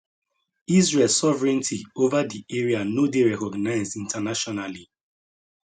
israel sovereignty over di area no dey recognised internationally